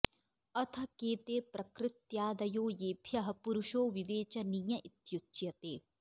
अथ के ते प्रकृत्यादयो येभ्यः पुरुषो विवेचनीय इत्युच्यते